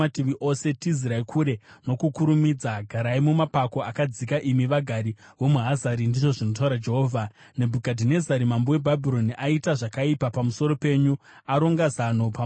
“Tizirai kure nokukurumidza! Garai mumapako akadzika, imi vagari vomuHazari,” ndizvo zvinotaura Jehovha. “Nebhukadhinezari mambo weBhabhironi aita zvakaipa pamusoro penyu; aronga zano pamusoro penyu.